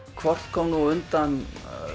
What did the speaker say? hvort kom á undan